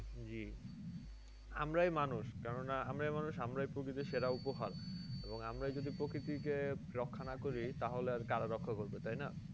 আমরাই মানুষ কেন না আমরাই মানুষ আমরাই প্রকৃতির সেরা উপহার। এবং আমরা যদি প্রকৃতিকে রক্ষা না করি তাহলে আর কারা রক্ষা করবে তাই না?